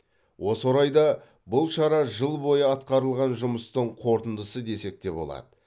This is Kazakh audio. осы орайда бұл шара жыл бойы атқарылған жұмыстың қорытындысы десек те болады